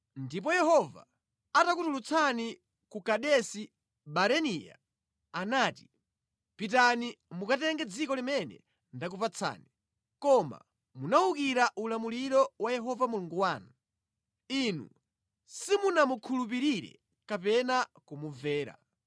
Ndipo Yehova atakutulutsani ku Kadesi Barinea anati, “Pitani mukatenge dziko limene ndakupatsani.” Koma munawukira ulamuliro wa Yehova Mulungu wanu. Inu simunamukhulupirire kapena kumumvera.